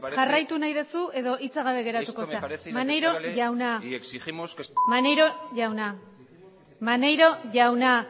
jauna jarraitu nahi duzu edo hitza gabe geratuko zara maneiro jauna maneiro jauna maneiro jauna